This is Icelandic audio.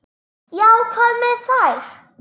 Já, hvað með þær?